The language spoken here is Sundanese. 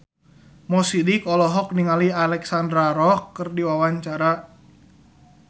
Mo Sidik olohok ningali Alexandra Roach keur diwawancara